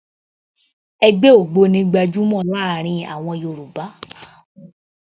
Ẹgbẹ́ ògbóni gbajúmọ̀ láàrin àwọn Yorùbá